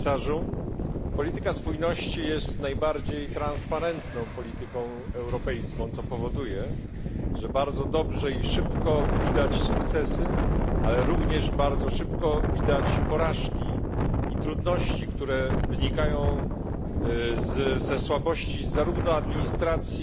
Pani Przewodnicząca! Panie Komisarzu! Polityka spójności jest najbardziej transparentną polityką europejską, co powoduje, że bardzo dobrze i szybko widać sukcesy, ale również bardzo szybko widać porażki i trudności, które wynikają ze słabości zarówno administracji